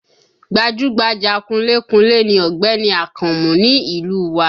Gbajúgbajà kunlé kunlé ni Ọ̀gbẹ́ni Akànmú ni ìlú u wa